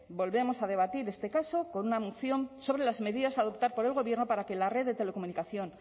volvemos a debatir en este caso con una moción sobre las medidas a adoptar por el gobierno para que la red de telecomunicación